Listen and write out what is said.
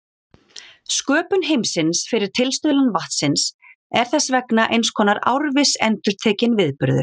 Sköpun heimsins fyrir tilstuðlan vatnsins er þess vegna eins konar árviss endurtekinn viðburður.